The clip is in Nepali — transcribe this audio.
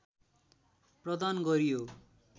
प्रदान गरियो।